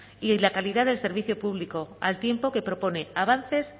y la calidad del servicio público al tiempo que propone avances